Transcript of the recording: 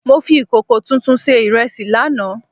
Mo fi ìkòkò tuntun sé ìrẹsì láàná